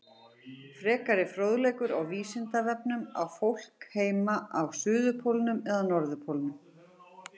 Frekari fróðleikur á Vísindavefnum Á fólk heima á suðurpólnum eða norðurpólnum?